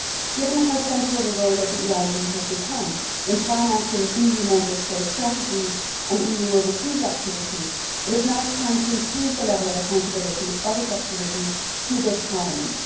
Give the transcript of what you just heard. Given how central the role of the EIB has become in financing EU Member States' strategies and EU overseas activity, it is now time to improve the level of accountability of its activities to this Parliament.